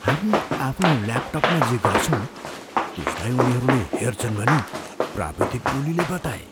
हामी आफ्नो ल्यापटपमा जे गर्छौँ त्यसलाई उनीहरूले हेर्छन् भनी प्राविधिक टोलीले बताए।